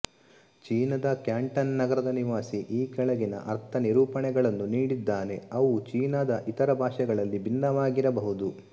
ಚೀನಾದ ಕ್ಯಾಂಟನ್ ನಗರದ ನಿವಾಸಿ ಈ ಕೆಳಗಿನ ಅರ್ಥನಿರೂಪಣೆಗಳನ್ನು ನೀಡಿದ್ದಾನೆ ಅವು ಚೀನಾದ ಇತರ ಭಾಷೆಗಳಲ್ಲಿ ಭಿನ್ನವಾಗಿರಬಹುದು